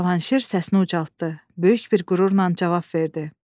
Cavanşir səsini ucaltdı, böyük bir qürurla cavab verdi.